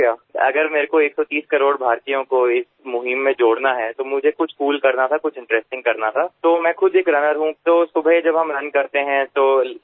જો મારે 130 કરોડ ભારતીયોને આ અભિયાન સાથે જોડવા હોય તો મારે કંઈક કૂલ કરવું પડે કંઈક રસપ્રદ કરવું પડે તો હું પોતે એક દોડવીર છું સવારે જ્યારે આપણે દોડવા જઈએ છીએ તો ટ્રાફિક ઓછો હોય છે